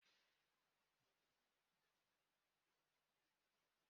Breeki ka eji akwụsị ọgbatumtum.